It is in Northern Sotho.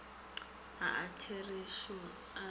a a tšerego a se